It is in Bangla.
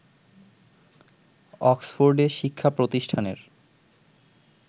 অক্সফোর্ডে শিক্ষাপ্রতিষ্ঠানের